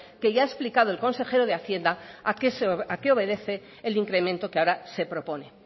que ya ha explicado el consejero de hacienda a qué obedece el incremento que ahora se propone